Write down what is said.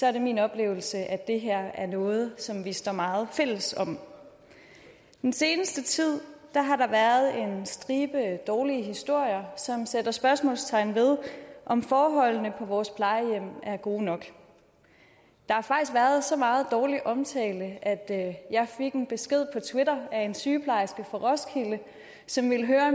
er min oplevelse at det her er noget som vi står meget fælles om den seneste tid har der været en stribe dårlige historier som sætter spørgsmålstegn ved om forholdene på vores plejehjem er gode nok der har faktisk været så meget dårlig omtale at at jeg fik en besked på twitter af en sygeplejerske fra roskilde som ville høre